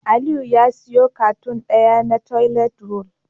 Aliyu ya siyo cartoon daya na toilet roll